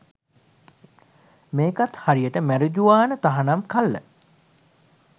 මේකත් හරියට මැරිජුවාන තහනම් කල්ල